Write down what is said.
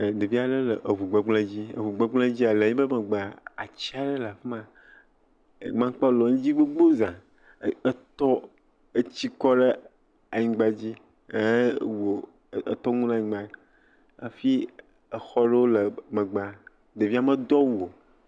Ɖevi vi aɖe le ŋugbegble dzi. Eŋugbegble dzi le yiƒe megbea atsi aɖe le afi ma. Emakpawo le edzi gbogbo zã. Etsi kɔ ɖe anyigba ehe wo etɔ ŋu ɖe anyigba. Hafi exɔ aɖewo le megbea. Ɖevia medo awu o.